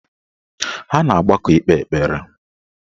Ha na-agbakọ ikpe ekpere